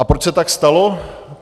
A proč se tak stalo?